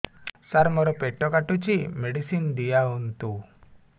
ସାର ମୋର ପେଟ କାଟୁଚି ମେଡିସିନ ଦିଆଉନ୍ତୁ